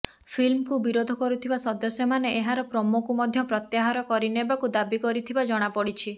ଫିଲ୍ମକୁ ବିରୋଧ କରୁଥିବା ସଦସ୍ୟମାନେ ଏହାର ପ୍ରୋମୋକୁ ମଧ୍ୟ ପ୍ରତ୍ୟାହାର କରିନେବାକୁ ଦାବି କରିଥିବା ଜଣାପଡ଼ିଛି